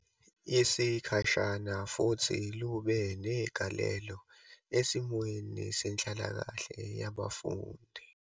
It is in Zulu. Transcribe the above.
Yesikhashana futhi lube negalelo esimweni senhlalakahle yabafundi.